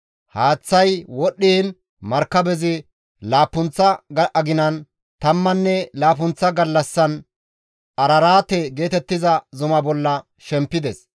Haaththay wodhdhiin markabezi laappunththa aginan tammanne laappunththa gallassan Araraate geetettiza zuma bolla shempides.